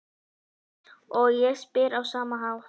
Og ég spyr á sama hátt